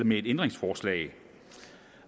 med et ændringsforslag